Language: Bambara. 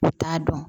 U t'a dɔn